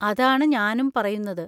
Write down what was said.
അതാണ് ഞാനും പറയുന്നത്.